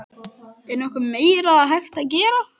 Er nokkuð meira hægt að gera?